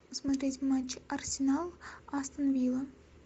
посмотреть матч арсенал астон вилла